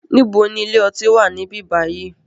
Níbo ni ilé ọtí wá níbí bayi?